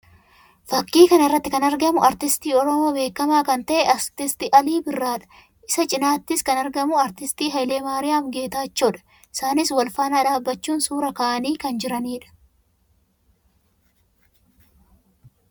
Fakkii kana irratti kan argamu aartistii Oromoo beekamaa kan ta'e aartist Alii Birraa dha. Isa cinatti kan argamus aartist Haayile Maariyaam Geetaachoo dha. Isaanis wal faana dhaabbachuun suuraa ka'anii kan jiranii dha.